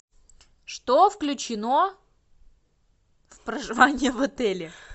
что включено в проживание в отеле